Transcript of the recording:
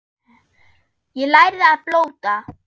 Ég lærði að blóta.